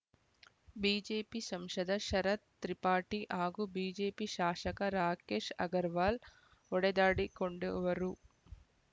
BJP ಸಂಶದ ಶರತ್ ತ್ರಿಪಾಠಿ ಹಾಗೂ BJP ಶಾಶಕ ರಾಕೇಶ್‌ ಅಗರವಾಲ್‌ ಹೊಡೆದಾಡಿಕೊಂಡು ವರು